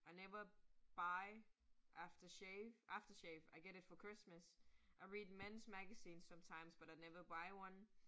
I never buy aftershave, I get it for Christmas, I read men's magazines sometimes, but I never buy one